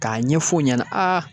K'a ɲɛf'o ɲɛna